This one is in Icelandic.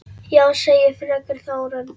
Já, segir fröken Þórunn.